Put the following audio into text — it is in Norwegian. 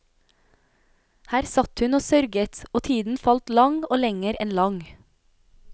Her satt hun og sørget, og tiden falt lang og lenger enn lang.